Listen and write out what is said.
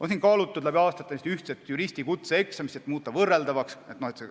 Läbi aastate on kaalutud ühtset juristi kutseeksamit, et tekitada võrreldavust.